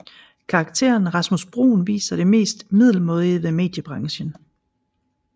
Karakteren Rasmus Bruun viser det mest middelmådige ved mediebranchen